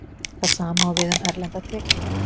Það sama á við um erlendar tekjur.